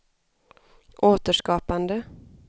återskapande